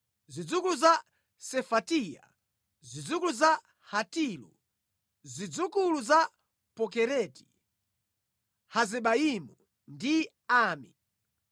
zidzukulu za Sefatiya, zidzukulu za Hatilu, zidzukulu za Pokereti, Hazebayimu ndi Ami.